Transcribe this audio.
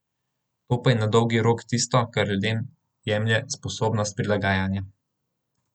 To pa je na dolgi rok tisto, kar ljudem jemlje sposobnost prilagajanja.